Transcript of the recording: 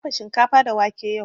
Na dafa shinkafa da wake yau